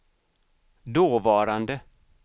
dåvarande